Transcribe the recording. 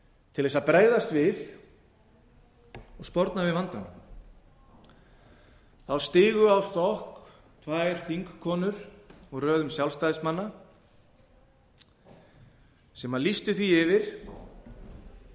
til að bregðast við og sporna við vandanum þá stigu á stokk tvær þingkonur úr röðum sjálfstæðismanna sem lýstu því yfir að